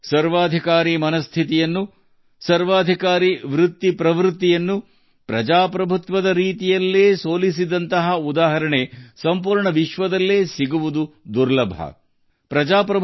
ಪ್ರಜಾಸತ್ತಾತ್ಮಕ ರೀತಿಯಲ್ಲಿ ಸರ್ವಾಧಿಕಾರಿ ಮನಸ್ಥಿತಿ ಸರ್ವಾಧಿಕಾರಿ ಧೋರಣೆಗಳನ್ನು ಸೋಲಿಸಿದ ಇಂತಹ ಉದಾಹರಣೆ ಇಡೀ ಜಗತ್ತಿನಲ್ಲಿ ಸಿಗುವುದು ಕಷ್ಟ